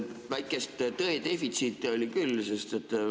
Väikest tõe defitsiiti küll oli.